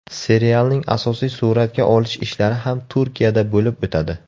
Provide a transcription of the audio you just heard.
Serialning asosiy suratga olish ishlari ham Turkiyada bo‘lib o‘tadi.